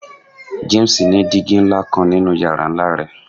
James ni digi nla kan ninu yara nla rẹ